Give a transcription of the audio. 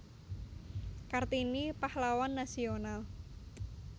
Kartini Pahlawan Nasional